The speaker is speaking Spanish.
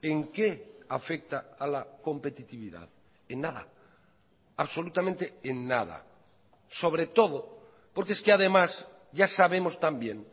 en qué afecta a la competitividad en nada absolutamente en nada sobre todo porque es que además ya sabemos también